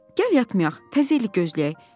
Gəl yatmayaq, təzə ili gözləyək."